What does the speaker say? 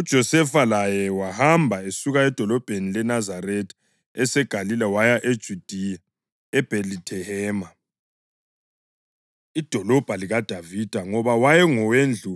UJosefa laye wahamba esuka edolobheni leNazaretha eseGalile waya eJudiya, eBhethilehema idolobho likaDavida, ngoba wayengowendlu